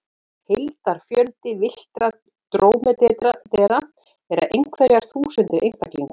Heildarfjöldi villtra drómedara eru einhverjar þúsundir einstaklinga.